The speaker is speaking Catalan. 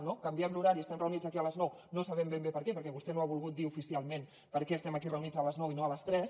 no canviem l’horari estem reunits aquí a les nou no sabem ben bé per què perquè vostè no ha volgut dir oficialment per què estem aquí reunits a les nou i no a les tres